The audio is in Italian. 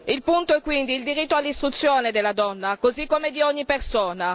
Il punto quindi è il diritto all'istruzione della donna, così come di ogni persona.